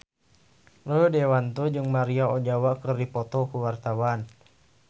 Rio Dewanto jeung Maria Ozawa keur dipoto ku wartawan